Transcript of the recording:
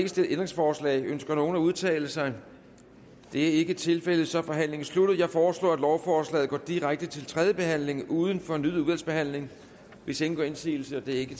stillet ændringsforslag ønsker nogen at udtale sig det er ikke tilfældet så er forhandlingen sluttet jeg foreslår at lovforslaget går direkte til tredje behandling uden fornyet udvalgsbehandling hvis ingen gør indsigelse det er ikke